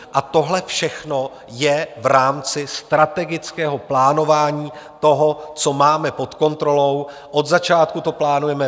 A tohle všechno je v rámci strategického plánování toho, co máme pod kontrolou, od začátku to plánujeme.